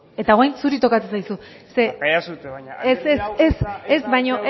eta orain zuri tokatzen zaizu barkatu iezadazue baina ez ez ez baino